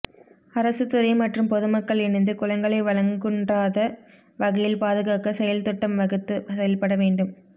அரசுத்துறை மற்றும் பொதுமக்கள் இணைந்து குளங்களை வளங்குன்றாத வகையில் பாதுகாக்க செயல்திட்டம் வகுத்து செயல்பட வேண்டும்